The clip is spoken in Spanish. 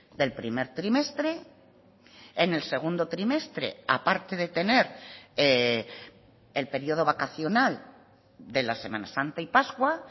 del primer trimestre en el segundo trimestre a parte de tener el periodo vacacional de la semana santa y pascua